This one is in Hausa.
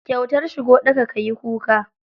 Kyautar shigo ɗaka, ka yi kuka.